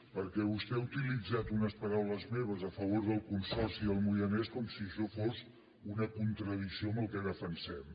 perquè vostè ha utilitzat unes paraules meves a favor del consorci del moianès com si això fos una contradicció amb el que defensem